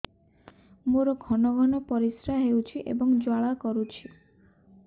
ମୋର ଘନ ଘନ ପରିଶ୍ରା ହେଉଛି ଏବଂ ଜ୍ୱାଳା କରୁଛି